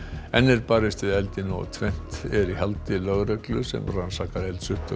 enn er barist við eldinn og tvennt er í haldi lögreglu sem rannsakar eldsupptök